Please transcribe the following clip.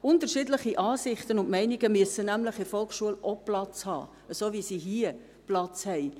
Unterschiedliche Ansichten und Meinungen müssen nämlich in der Volksschule ebenfalls Platz haben, so wie sie hier Platz haben.